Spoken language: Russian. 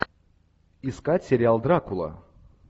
искать сериал дракула